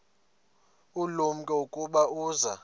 ulumko ukuba uza